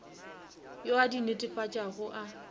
yo a di netefatšago a